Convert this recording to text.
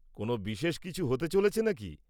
কোন বিশেষ কিছু হতে চলেছে নাকি?